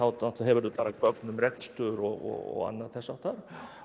hefurðu gögn um rekstur og annað þess háttar